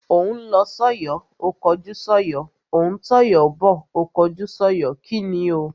Ó ń lọ sọ́yọ̀ ó kọjú sọ́yọ̀, ó ń tọ̀yọ́ bọ̀ ó kọjú sọ́yọ̀. kíni o?